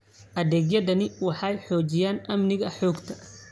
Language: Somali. Adeegyadani waxay xoojiyaan amniga xogta.